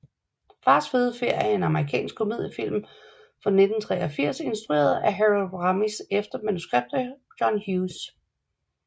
Fars fede ferie er en amerikansk komediefilm fra 1983 instrueret af Harold Ramis efter manuskript af John Hughes